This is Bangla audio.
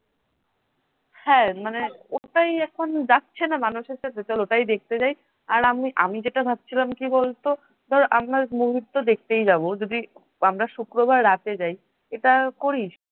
হ্যাঁ মানে ওটাই এখন যাচ্ছে না মানুষ ওটাই দেখতে যাই । আর আমি আমি যেটা ভাবছিলাম কি বলতো ধর আমরা movie তো দেখতে যাব যদি আমরা শুক্রবার রাতে যাই এটা করিস?